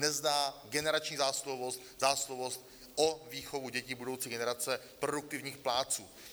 Nezná generační zásluhovost, zásluhovost o výchovu dětí, budoucí generace produktivních plátců.